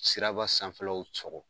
Siraba sanfɛ law sɔgɔ.